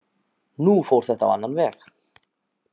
Nú fór þetta á annan veg.